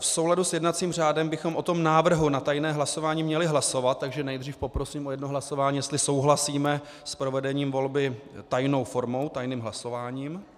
V souladu s jednacím řádem bychom o tom návrhu na tajné hlasování měli hlasovat, takže nejdřív poprosím o jedno hlasování, jestli souhlasíme s provedením volby tajnou volbou, tajným hlasováním.